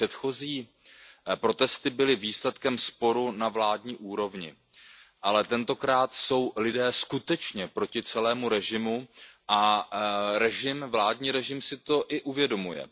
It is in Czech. Předchozí protesty byly výsledkem sporu na vládní úrovni, ale tentokrát jsou lidé skutečně proti celému režimu a vládní režim si to i uvědomuje.